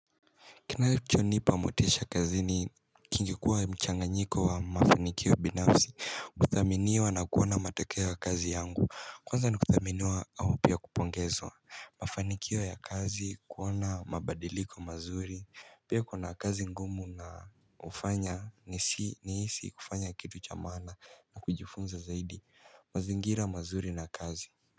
Kinachonipa motisha kazi ni kingekuwa mchanganyiko wa mafanikio binafsi kuthaminiwa na kuona matokeo ya kazi yangu Kwanza nikuthaminiwa au pia kupongezwa Mafanikio ya kazi kuwa na mabadiliko mazuri Pia kuna kazi ngumu na hufanya nihusi kufanya kitu cha maana na kujifunza zaidi mazingira mazuri na kazi.